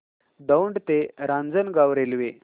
दौंड ते रांजणगाव रेल्वे